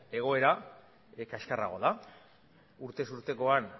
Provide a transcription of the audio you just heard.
egoera kaskarragoa da urtez urtekoan